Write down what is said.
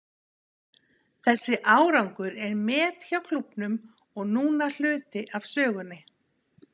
Þessi árangur er met hjá klúbbnum og núna hluti af sögunni.